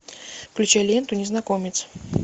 включай ленту незнакомец